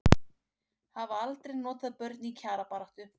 Hafa aldrei notað börn í kjarabaráttu